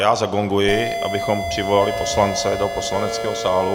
Já zagonguji, abychom přivolali poslance do poslaneckého sálu.